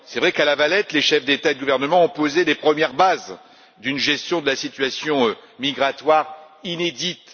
C'est vrai qu'à La Valette, les chefs d'État et de gouvernement ont posé les premières bases d'une gestion de la situation migratoire inédite.